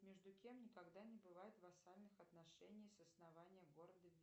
между кем никогда не бывает вассальных отношений с основания города